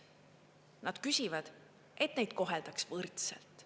Nad küsivad, et neid koheldaks võrdselt.